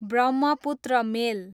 Brahmaputra मेल